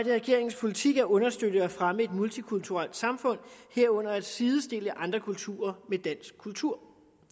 er regeringens politik at understøtte og fremme et multikulturelt samfund herunder at sidestille andre kulturer med dansk kultur